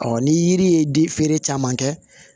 ni yiri ye di feere caman kɛ